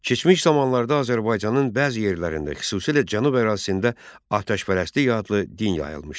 Keçmiş zamanlarda Azərbaycanın bəzi yerlərində, xüsusilə Cənub ərazisində atəşpərəstlik adlı din yayılmışdı.